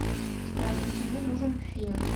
здравствуйте мне нужен фен